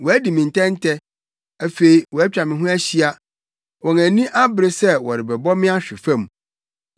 Wɔadi me ntɛntɛ, afei wɔatwa me ho ahyia; wɔn ani abere sɛ wɔbɛbɔ me ahwe fam.